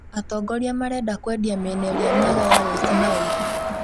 Atongoria marenda kwendia miena ĩrĩa mĩega ya west Nile